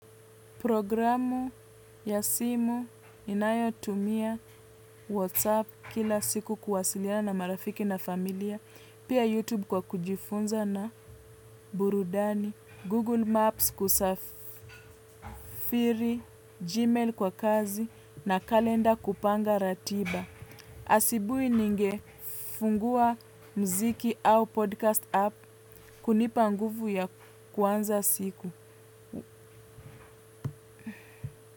Programu ya simu inayotumia WhatsApp kila siku kuwasiliana na marafiki na familia, pia YouTube kwa kujifunza na burudani Google Maps kusafiri Gmail kwa kazi na kalenda kupanga ratiba. Asubuhi ningefungua mziki au podcast app kunipa nguvu ya kuanza siku.